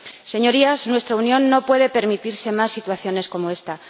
Señorías, nuestra Unión no puede permitirse más situaciones como esta.